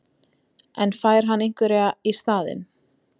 En fær hann einhverjar í staðinn?